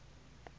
emangweni